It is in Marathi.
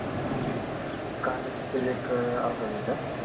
हम्म कांद्याच तेल एक अर्धा लीटर